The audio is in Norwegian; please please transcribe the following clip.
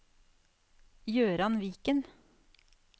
Gøran Viken